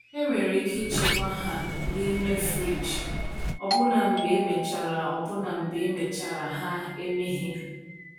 Enwere ike ịchekwa ha n’ime friji, ọbụna mgbe emechara ọbụna mgbe emechara ha emeghe.